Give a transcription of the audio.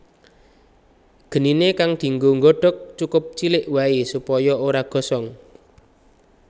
Geniné kang dinggo nggodhog cukup cilik waé supaya ora gosong